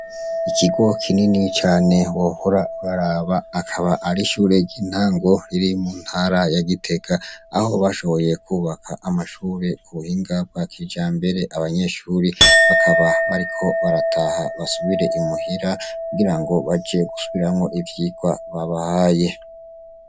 Ikigo kinini cane wohora uraraba akaba arishure ryintango riri mu ntara ya Gitega aho bashoboye kubaka amashure kubuhinga bwa kijambere mbere banyeshure bakaba bariko barataha basubire imuhira kugirango baje gusubiramwo ivyigwa babahaye.